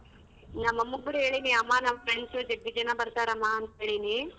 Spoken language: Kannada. ನಮ್ಮ ಅಮ್ಮ ಕೂಡ ಹೇಳಿನಿ ಅಮ್ಮ ನಮ್ friends ಜಗ್ಗಿ ಜನ ಬರ್ತಾರೆ ಅಮ್ಮ ಅಂತೇಳಿನಿ.